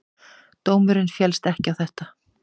Dómurinn féllst ekki á þetta.